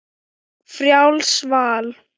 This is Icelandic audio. Frjálst val!